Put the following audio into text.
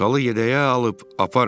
Salı yədəyə alıb aparın.